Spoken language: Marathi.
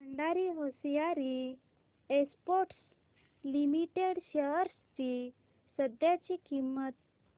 Bhandari hosiery exports limited shares ची सध्याची किंमत